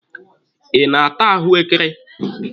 Ị na-ata ahụekere?